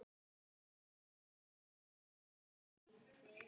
Rúm hennar kallast Kör.